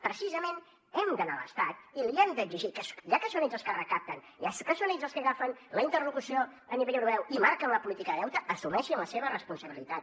precisament hem d’anar a l’estat i li hem d’exigir que ja que són ells els que recapten ja que són ells els que agafen la interlocució a nivell europeu i marquen la política de deute assumeixin la seva responsabilitat